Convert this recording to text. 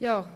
das Wort.